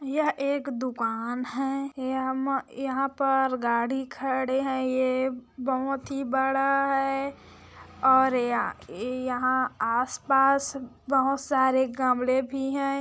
यह एक दूकान है यह म यहाँ पर गाड़ी खड़े है ये बहोत ही बड़ा है और य यहाँ आसपास बहुत सारे गमले भी है।